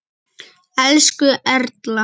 Elsku Erla.